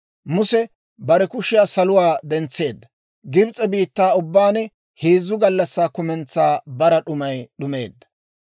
Muse bare kushiyaa saluwaa dentseedda; Gibs'e biittaa ubbaan heezzu gallassaa kumentsaa bara d'umay d'umeedda.